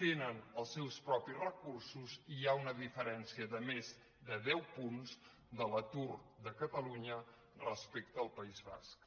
tenen els seus propis recursos i hi ha una diferència de més de deu punts de l’atur de catalunya respecte al país basc